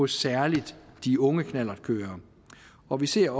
særlig de unge knallertkørere og vi ser